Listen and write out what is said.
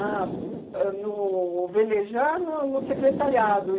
ãh no velejar, no no secretariado.